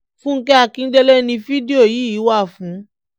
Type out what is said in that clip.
fúnkẹ́ akíndélé ni fídíò yìí wà fún